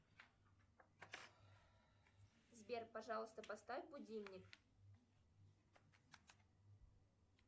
сбер пожалуйста поставь будильник